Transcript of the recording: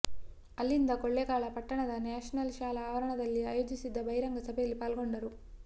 ಅಲ್ಲಿಂದ ಕೊಳ್ಳೇಗಾಲ ಪಟ್ಟಣದ ನ್ಯಾಷನಲ್ ಶಾಲಾ ಆವರಣದಲ್ಲಿ ಆಯೋಜಿಸಿದ್ದ ಬಹಿರಂಗ ಸಭೆಯಲ್ಲಿ ಪಾಲ್ಗೊಂಡರು